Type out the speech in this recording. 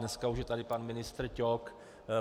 Dneska už je tady pan ministr Ťok.